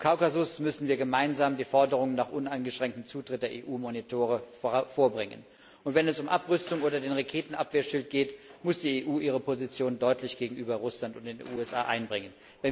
Im Kaukasus müssen wir gemeinsam die Forderung nach uneingeschränktem Zutritt der EU Beobachter vorbringen. Wenn es um Abrüstung oder den Raketenabwehrschild geht, muss die EU ihre Position deutlich gegenüber Russland und den USA einbringen.